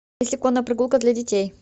есть ли конная прогулка для детей